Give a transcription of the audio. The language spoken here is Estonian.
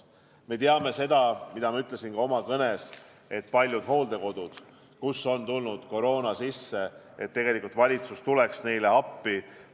Me teame seda, mida ma ütlesin ka oma kõnes, et paljudele hooldekodudele, kuhu on sisse tulnud koroona, tegelikult valitsus tuleb appi.